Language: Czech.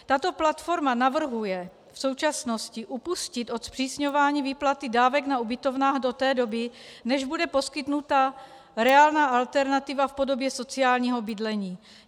Tato platforma navrhuje v současnosti upustit od zpřísňování výplaty dávek na ubytovnách do té doby, než bude poskytnuta reálná alternativa v podobě sociálního bydlení.